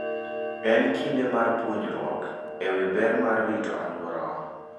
En kinde mar puonjruok e wi ber mar rito alworawa.